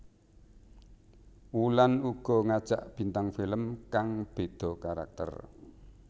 Wulan uga ngajak bintang film kang beda karakter